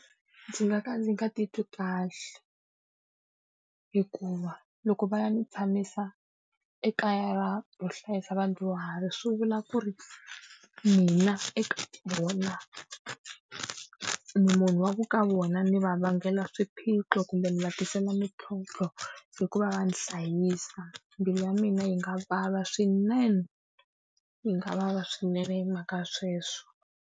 Ndzi nga ka ndzi nga titwi kahle. Hikuva loko va ya ni tshamisa ekaya ra ro hlayisa vadyuhari swi vula ku ri mina eka vona, ni munhu wa ku ka vona ni va vangela swiphiqo, kumbe ni va tisela mintlhontlho hi ku va va ni hlayisa. Mbilu ya mina yi nga vava swinene, yi nga vava swinene hi mhaka sweswo.